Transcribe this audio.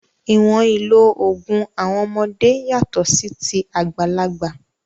Ìwọ̀n ìlò òògùn àwọn ọmọdé yàtọ̀ sí ti àgbàlagbà.